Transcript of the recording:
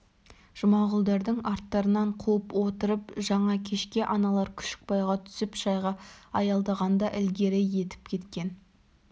жұмағұлдардың арттарынан қуып отырып жаңа кешке аналар күшікбайға түсіп шайға аялдағанда ілгері етіп кеткен